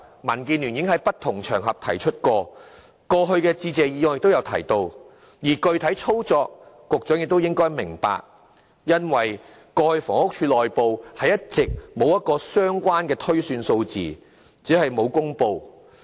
民建聯已在不同場合提出過這個要求，在過去的致謝議案亦有提到，在具體操作方面，局長亦應明白因為過去房屋署內部一直進行相關的推算，只是沒有公布數字而已。